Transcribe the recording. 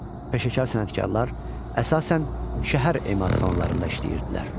Peşəkar sənətkarlar əsasən şəhər emalatxanalarında işləyirdilər.